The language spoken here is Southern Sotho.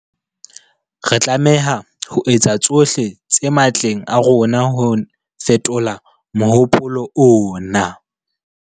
Re tlameha ho etsa tsohle tse matleng a rona ho fetola mohopolo ona.